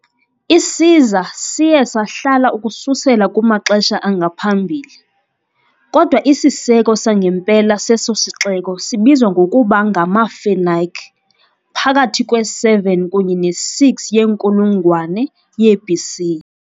Isiza siye sahlala ukususela kumaxesha angaphambili, kodwa isiseko sangempela seso sixeko sibizwa ngokuba ngamaFenike phakathi kwe -7 kunye ne -6 yenkulungwane ye-BC .